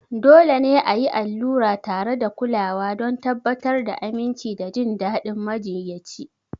Dole ne a yi allura tare da kulawa don tabbatar da aminci da jin daɗin majiyyaci.